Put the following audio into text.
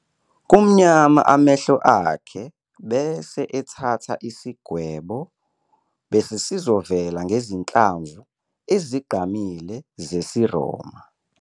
"Kumnyama amehlo akhe bese ethatha isigwebo bese sizovela ngezinhlamvu ezigqamile zesiRoma.